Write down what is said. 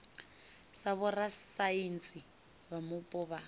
sa vhorasaintsi vha mupo vha